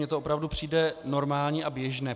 Mně to opravdu přijde normální a běžné.